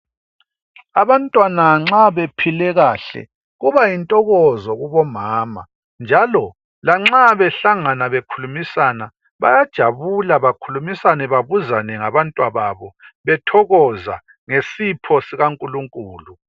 Abantwana nxa bephile kahle kuba yintokozo kubomama njalo lanxa behlangana bekhulumisana bayajabula bakhulumisane babuzane ngabantwa babo bethokoza ngesipho sikankulunkulu.